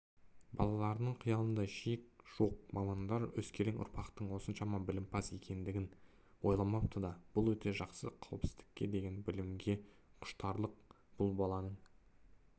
балалардың қиялында шек жоқ мамандар өскелең ұрпақтың осыншама білімпаз екендігін ойламапты да бұл өте жақсы қауіпсіздікке деген білімге құштарлық бқл баланың